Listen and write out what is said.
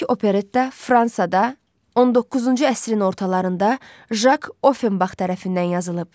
İlk operetta Fransada 19-cu əsrin ortalarında Jak Offenbax tərəfindən yazılıb.